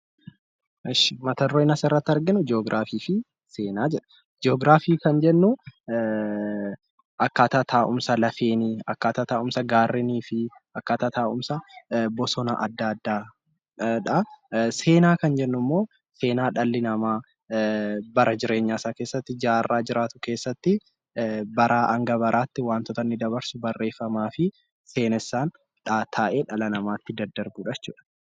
Jii'oogiraafii kan jennu akkaataa taa'umsa lafaa, akkaataa taa'umsa gaarrenii fi akkaataa taa'umsa bosona adda addaadha. Seenaan kan jennu immoo seenaa dhalli namaa bara jireenya isaa keessatti wantoota inni dabarsuu fi seenesaaan taa'ee dhalootatti daddarbudha jechuudha